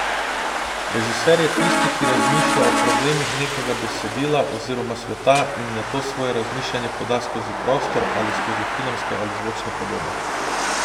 Režiser je tisti, ki razmišlja o problemih nekega besedila oziroma sveta in nato svoje razmišljanje poda skozi prostor ali skozi filmske ali zvočne podobe.